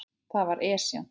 Það var Esjan, hélt hann.